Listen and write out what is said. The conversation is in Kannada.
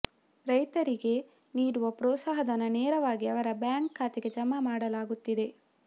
ರೈತರಿಗೆ ನೀಡುವ ಪ್ರೋತ್ಸಾಹಧನ ನೇರವಾಗಿ ಅವರ ಬ್ಯಾಂಕ್ ಖಾತೆಗೆ ಜಮಾ ಮಾಡಲಾಗುತ್ತಿದೆ